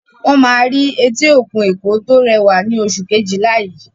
Wọ́n máa rí etí òkun Èkó tó rẹwà ní oṣù Kejìlá yìí